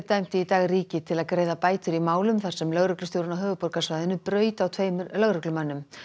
dæmdi í dag ríkið til að greiða bætur í málum þar sem lögreglustjórinn á höfuðborgarsvæðinu braut á tveimur lögreglumönnum